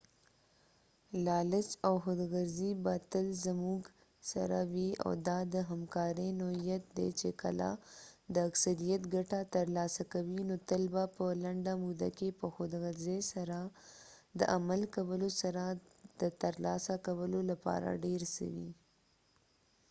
لالچ او خود غرضي به تل زموږ سره وي او دا د همکارۍ نوعيت دی چې کله د اکثریت ګټه ترلاسه کوي نو تل به په لنډه موده کې په خود غرضۍ سره د عمل کولو سره د ترلاسه کولو لپاره ډير څه وي